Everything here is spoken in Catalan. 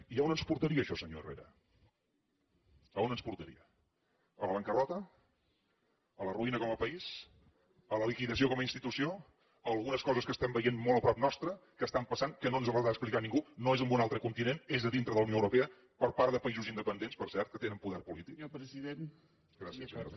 i a on ens portaria això senyor herrera a on ens portaria a la bancarrota a la ruïna com a país a la liquidació com a institució a algunes coses que estem veient molt a prop nostre que estan passant que no ens les ha d’explicar ningú no és en un altre continent és a dintre de la unió europea per part de països independents per cert que tenen poder polític gràcies senyora presidenta